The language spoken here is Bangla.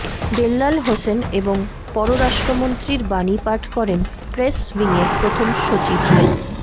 বেল্লাল হোসেন এবং পররাষ্ট্রমন্ত্রীর বাণী পাঠ করেন প্রেস উইংয়ের প্রথম সচিব মো